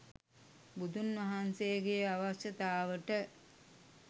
බුදුන් වහන්සේගේ අවශ්‍යතාවට